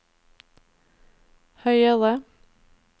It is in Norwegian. høyere